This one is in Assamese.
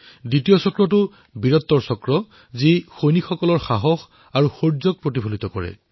দ্বিতীয় বৃত্ত বীৰত্বৰ চক্ৰ যি সৈনিকৰ সাহস আৰু বীৰত্বক প্ৰদৰ্শিত কৰিছে